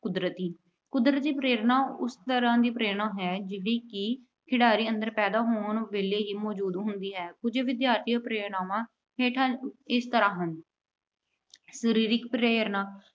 ਕੁਦਰਤੀ। ਕੁਦਰਤੀ ਪ੍ਰੇਰਨਾ ਉਸ ਤਰ੍ਹਾਂ ਦੀ ਪ੍ਰੇਰਨਾ ਹੈ ਜਿਸਦੀ ਖਿਡਾਰੀ ਦੇ ਪੈਦਾ ਹੋਣ ਵੇਲੇ ਹੀ ਮੌਜੂਦ ਹੁੰਦੀ ਹੈ। ਵਿਦਿਆਰਥੀਆਂ ਦੀਆਂ ਪ੍ਰੇਰਨਾਵਾਂ ਇਸ ਤਰ੍ਹਾਂ ਹਨ- ਸਰੀਰਕ ਪ੍ਰੇਰਨਾ